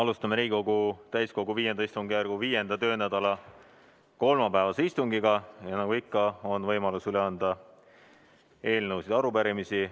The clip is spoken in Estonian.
Alustame Riigikogu täiskogu V istungjärgu 5. töönädala kolmapäevast istungit ja nagu ikka, on võimalus üle anda eelnõusid ja arupärimisi.